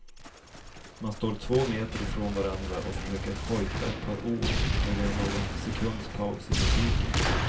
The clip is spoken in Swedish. Man står två meter ifrån varandra och försöker hojta ett par ord när det är någon sekunds paus i musiken.